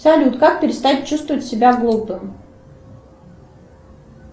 салют как перестать чувствовать себя глупым